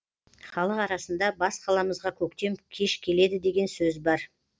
халық арасында бас қаламызға көктем кеш келеді деген сөз бар